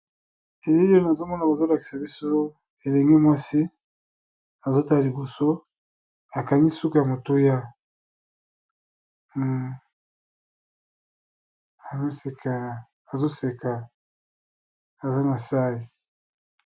Elili oyo nazomona kolakisa biso elengi mwasi azotala liboso akangi suku ya motoya azoseka aza na sai.